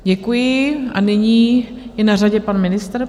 Děkuji a nyní je na řadě pan ministr.